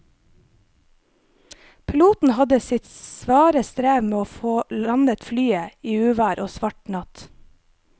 Piloten hadde sitt svare strev med å få landet flyet i uvær og svart natt.